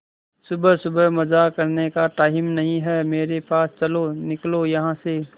सुबह सुबह मजाक करने का टाइम नहीं है मेरे पास चलो निकलो यहां से